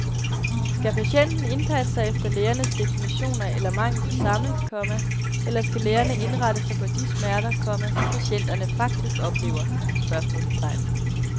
Skal patienten indpasse sig efter lægernes definitioner eller mangel på samme, komma eller skal lægerne indrette sig på de smerter, komma som patienterne faktisk oplever? spørgsmålstegn